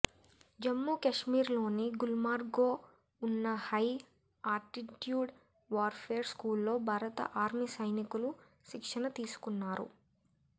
జమ్మూ కశ్మీర్లోని గుల్మార్గ్లో ఉన్న హై ఆర్టిట్యూడ్ వార్ఫేర్ స్కూల్లో భారత ఆర్మీ సైనికులు శిక్షణ తీసుకున్నారు